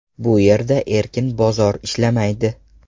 Bu yerda erkin bozor ishlamaydi.